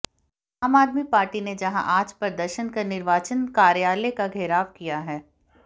आम आदमी पार्टी ने जहां आज प्रदर्शन कर निर्वाचन कार्यालय का घेराव किया है